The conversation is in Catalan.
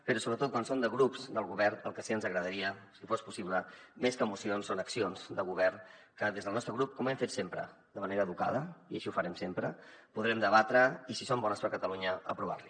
però sobretot quan són de grups del govern el que sí que ens agradaria si fos possible més que mocions són accions de govern que des del nostre grup com hem fet sempre de manera educada i així ho farem sempre podrem debatre i si són bones per a catalunya aprovar li